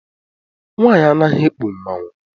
Nwaanyị anaghị ekpu mmanwụ.